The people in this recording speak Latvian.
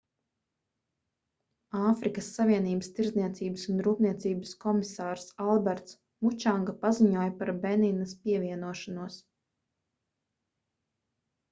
āfrikas savienības tirdzniecības un rūpniecības komisārs alberts mučanga paziņoja par beninas pievienošanos